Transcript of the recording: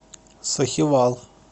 сахивал